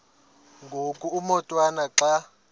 ngoku umotwana xa